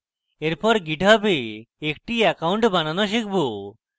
এরপর github we একটি account বানানো শিখব